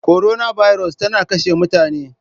Korona birus tana kashe mutane.